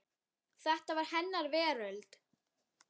Þetta var hennar veröld.